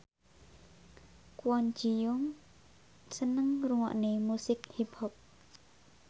Kwon Ji Yong seneng ngrungokne musik hip hop